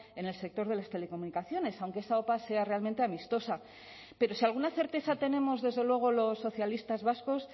en el sector de las telecomunicaciones aunque esa opa sea realmente amistosa pero si alguna certeza tenemos desde luego los socialistas vascos